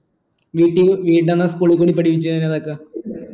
ഇതൊക്കെ